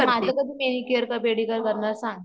माझं कधी manicure pedicure करणार सांग